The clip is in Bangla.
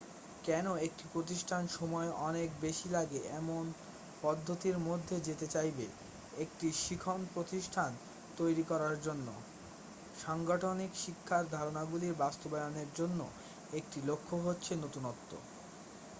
কেন একটি প্রতিষ্ঠান সময় অনেক বেশি লাগে এমন পদ্ধতির মধ্যে যেতে চাইবে একটি শিখন প্রতিষ্টান তৈরি করার জন্য সাংগঠনিক শিক্ষার ধারণাগুলি বাস্তবায়নের জন্য একটি লক্ষ্য হচ্ছে নতুনত্ব